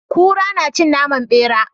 Kura nacin naman bera